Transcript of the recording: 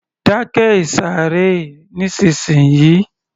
Dákẹ́ ìsàré nísìnsiyìí